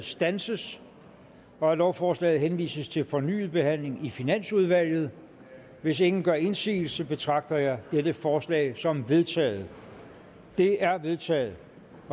standses og at lovforslaget henvises til fornyet behandling i finansudvalget hvis ingen gør indsigelse betragter jeg dette forslag som vedtaget det er vedtaget